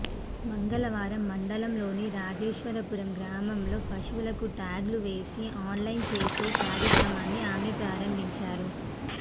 మంగళవారం మండలంలోని రాజేశ్వరపురం గ్రామంలో పశువులకు ట్యాగులు వేసి ఆన్లైన్ చేసే కార్యక్రమాన్ని ఆమె ప్రారంభించారు